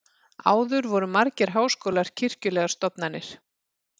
áður voru margir háskólar kirkjulegar stofnanir